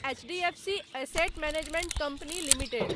HDFC asset management company limited